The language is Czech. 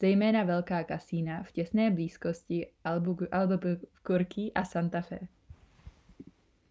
zejména velká kasína v těsné blízkosti albuquerque a santa fe